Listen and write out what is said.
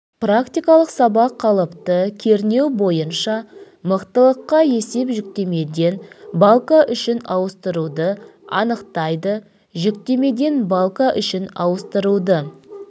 практикалық сабақ қалыпты кернеу бойынша мықтылыққа есеп жүктемеден балка үшін ауыстыруды анықтайды жүктемеден балка үшін ауыстыруды